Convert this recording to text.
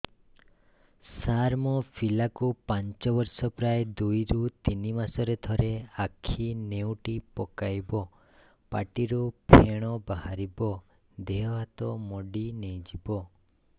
ସାର ମୋ ପିଲା କୁ ପାଞ୍ଚ ବର୍ଷ ପ୍ରାୟ ଦୁଇରୁ ତିନି ମାସ ରେ ଥରେ ଆଖି ନେଉଟି ପକାଇବ ପାଟିରୁ ଫେଣ ବାହାରିବ ଦେହ ହାତ ମୋଡି ନେଇଯିବ